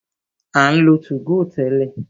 A ń lo 2go tẹ́lẹ̀.